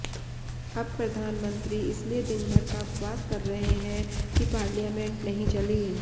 अब प्रधानमंत्री इसलिए दिनभर का उपवास कर रहे हैं कि पार्लियामेंट नहीं चली